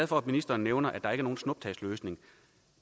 for at ministeren nævner at der ikke er nogen snuptagsløsning